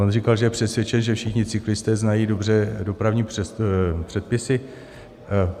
On říkal, že je přesvědčen, že všichni cyklisté znají dobře dopravní předpisy.